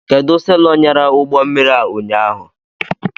Kedụ selọ nyara ụgbọmmiri a ụnyaahụ?